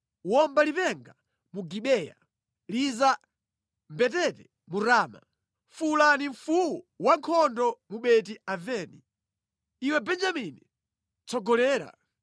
“Womba lipenga mu Gibeya, liza mbetete mu Rama. Fuwulani mfuwu wankhondo mu Beti-Aveni; iwe Benjamini tsogolera.